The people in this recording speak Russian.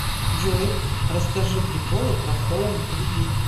джой расскажи приколы про хоум кредит